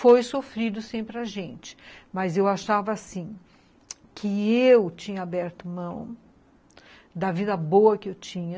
Foi sofrido sempre a gente, mas eu achava assim, que eu tinha aberto mão da vida boa que eu tinha,